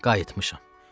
Qayıtmışam.